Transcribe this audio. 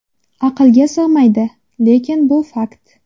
Aqlga sig‘maydi, lekin bu fakt.